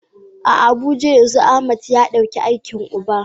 A Abuja yanzu Ahmad ya dauki aikin uba.